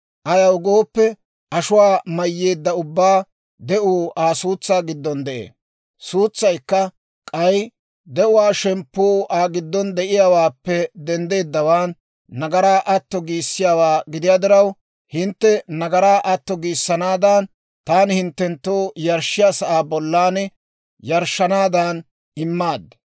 Ayaw gooppe ashuwaa mayyeedda ubbaa de'uu Aa suutsaa giddon de'ee; suutsaykka k'ay de'uwaa shemppuu Aa giddon de'iyaawaappe denddeedawaan nagaraa atto giissiyaawaa gidiyaa diraw, hintte nagaraa atto giissanaadan, taani hinttenttoo yarshshiyaa sa'aa bollan yarshshanaadan immaad.